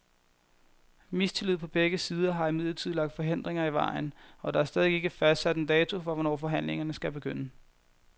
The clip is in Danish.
Mistillid på begge sider har imidlertid lagt forhindringer i vejen, og der er stadig ikke fastsat en dato for, hvornår forhandlingerne skal begynde.